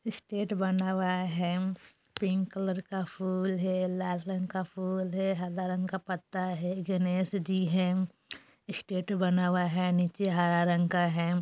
स्टेट बना हुआ है पिंक कलर का फूल है लाल रंग का फूल है हरा रंग का पत्ता है गणेश जी है स्टेट बना हुआ है नीचे हरा रंग का है।